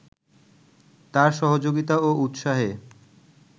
তার সহযোগিতা ও উৎসাহে